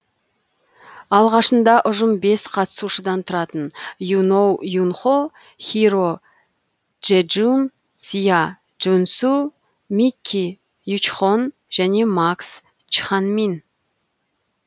алғашында ұжым бес қатысушыдан тұратын юноу юнхо хиро джэджун сиа джунсу микки ючхон және макс чханмин